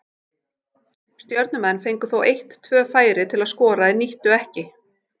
Stjörnumenn fengu þó eitt tvö færi til að skora en nýttu ekki.